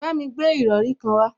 Bámi gbé ìrọrí kan wá